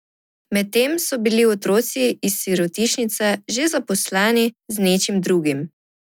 Medtem so bili otroci iz sirotišnice že zaposleni z nečim drugim.